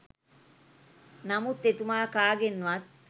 නමුත් එතුමා කාගෙන්වත්